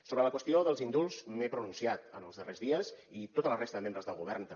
sobre la qüestió dels indults m’he pronunciat en els darrers dies i tota la resta de membres del govern també